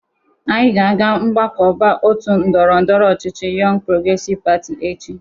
Anyị ga-aga mgbakọba otu ndọrọndọrọ ọchịchị Yọng Progresiv Pati echi